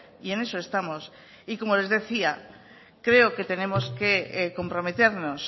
y en eso estamos como les decía creo que tenemos que comprometernos